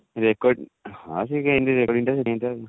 record ହଁ ସେ ଏମିତି recording ଟା ସେଥିପାଇଁ ତ